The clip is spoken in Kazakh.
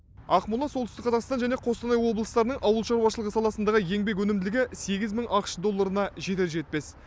ақмола солтүстік қазақстан және қостанай облыстарының ауыл шаруашылығы саласындағы еңбек өнімділігі сегіз мың ақш долларына жетер жетпес